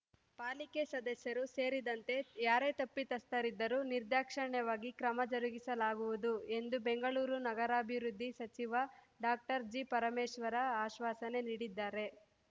ಪಾಲಿಕೆ ಸದಸ್ಯರು ಸೇರಿದಂತೆ ಯಾರೇ ತಪ್ಪಿತಸ್ಥರಿದ್ದರು ನಿರ್ದಾಕ್ಷಣ್ಯವಾಗಿ ಕ್ರಮ ಜರುಗಿಸಲಾಗುವುದು ಎಂದು ಬೆಂಗಳೂರು ನಗರಾಭಿವೃದ್ಧಿ ಸಚಿವ ಡಾಕ್ಟರ್ ಜಿಪರಮೇಶ್ವರ್‌ ಅಶ್ವಾಸನೆ ನೀಡಿದ್ದಾರೆ